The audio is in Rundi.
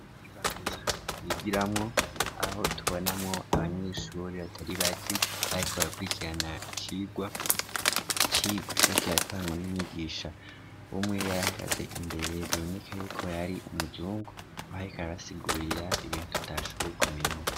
Ibanza yigiramwo aho tubonamwo abanyishuuri batari bakbak rakwikirana ikigwa icigwo cakyatangwa n'umyigisha umwe yarahagaze imbere biboneka yuko yari umuzungu ahoyikarabasigurira ibintu utashoboye kumenya.